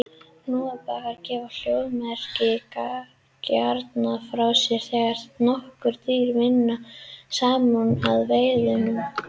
Hnúfubakar gefa hljóðmerkin gjarnan frá sér þegar nokkur dýr vinna saman að veiðunum.